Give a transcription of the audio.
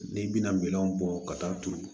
N'i bɛna minɛnw bɔ ka taa turu